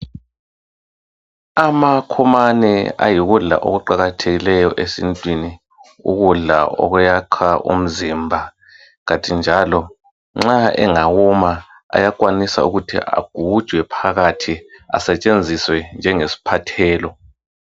Amakhomane ayikudla okuqakathekileyo esintwini ukudla okuyakha umzimba kanti njalo nxa engawoma ayakwanisa ukuthi agujwe phakathi asetshenziswe njenge siphathelo.